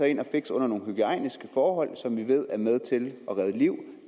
ind og fikser under nogle hygiejniske forhold som vi ved er med til at redde liv